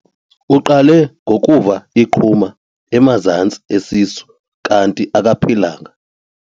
Uqale ngokuva iqhuma emazantsi esisu kanti akaphilanga.